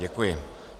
Děkuji.